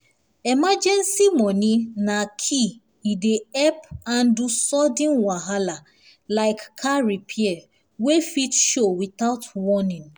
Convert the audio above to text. emergency money na key e dey help handle sudden wahala like car repair wey fit show without warning.